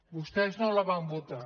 vostès no la van votar